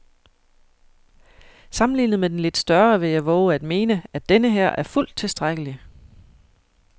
Sammenlignet med den lidt større vil jeg vove at mene, at denneher er fuldt tilstrækkelig.